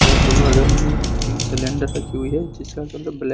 घर में सिलेंडर रखी हुई है जिसका कलर ब्लैक --